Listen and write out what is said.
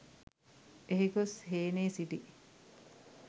එහි ගොස් හේනේ සිටි